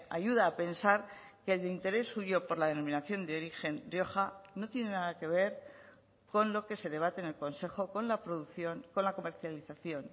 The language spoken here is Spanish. ayuda a pensar que el interés suyo por la denominación de origen rioja no tiene nada que ver con lo que se debate en el consejo con la producción con la comercialización